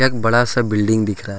बड़ा सा बिल्डिंग दिख रहा--